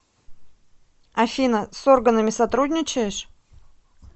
афина с органами сотрудничаешь